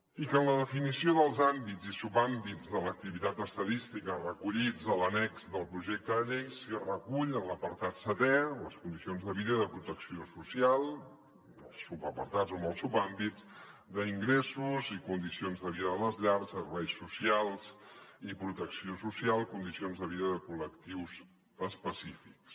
i que en la definició dels àmbits i subàmbits de l’activitat estadística recollits a l’annex del projecte de llei s’hi recull en l’apartat setè les condicions de vida i de protecció social amb els subapartats o amb els subàmbits d’ingressos i condicions de vida de les llars serveis socials i protecció social condicions de vida de col·lectius específics